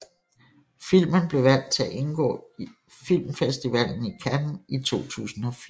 Filmen blev valgt til at indgå i Filmfestivalen i Cannes i 2004